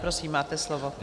Prosím, máte slovo.